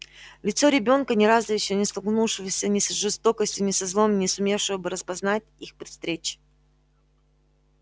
лицо ребёнка ни разу ещё не столкнувшегося ни с жестокостью ни со злом не сумевшего бы распознать их при встрече